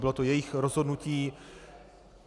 Bylo to jejich rozhodnutí.